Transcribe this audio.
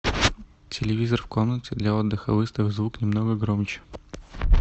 телевизор в комнате для отдыха выставь звук немного громче